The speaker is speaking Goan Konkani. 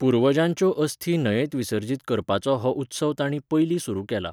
पुर्वजांच्यो अस्थी न्हंयेंत विसर्जित करपाचो हो उत्सव तांणी पयलीं सुरू केला.